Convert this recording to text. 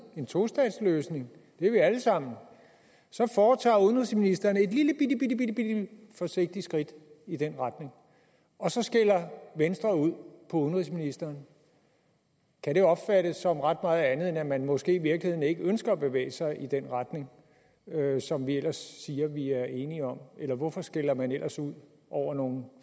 en tostatsløsning det er vi alle sammen så foretager udenrigsministeren et lillebitte forsigtigt skridt i den retning og så skælder venstre ud på udenrigsministeren kan det opfattes som ret meget andet end at man måske i virkeligheden ikke ønsker at bevæge sig i den retning som vi ellers siger vi er enige om hvorfor skælder man ellers ud over nogle